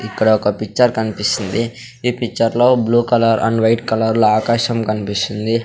ఇక్కడ ఒక పిక్చర్ కనిపిస్తుంది ఈ పిక్చర్ లో blue colour and white colour లో ఆకాశం కనిపిస్తుంది.